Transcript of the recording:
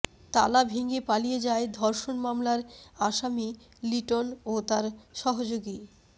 তালা ভেঙে পালিয়ে যায় ধর্ষণ মামলার আসামি লিটন ও তার সহযোগী